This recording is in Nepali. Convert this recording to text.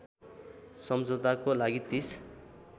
समझौताको लागि ३०